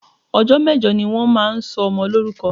Ọjọ́ mẹ́jọ ni wọ́n máa ń sọ ọmọ lórúkọ